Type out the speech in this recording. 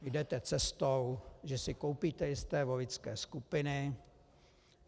Jdete cestou, že si koupíte jisté voličské skupiny.